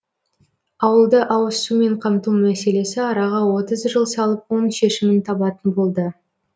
ауылды ауызсумен қамту мәселесі араға отыз жыл салып оң шешімін табатын болды